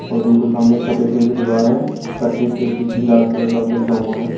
और बिल्कुल सामने एक सफेद कलर की दीवार है जिस पर एक ए_सी_सी लाल कलर का लिखा हुआ है।